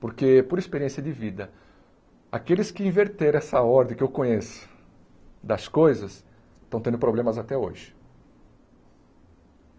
Porque, por experiência de vida, aqueles que inverteram essa ordem que eu conheço das coisas estão tendo problemas até hoje.